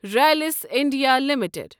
Rallis India limited